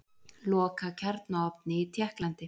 Loka kjarnaofni í Tékklandi